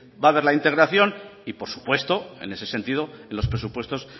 va a haber la integración y por supuesto en ese sentido en los presupuestos